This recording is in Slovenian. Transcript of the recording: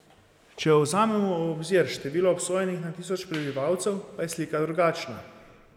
Če vzamemo v obzir število obsojenih na tisoč prebivalcev, pa je slika drugačna.